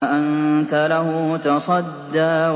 فَأَنتَ لَهُ تَصَدَّىٰ